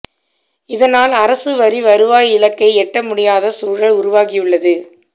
இதனால் அரசு வரி வருவாய் இலக்கை எட்ட முடியாத சூழல் உருவாகியுள்ளது